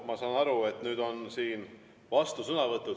Ma saan aru, et nüüd on siin vastusõnavõtud.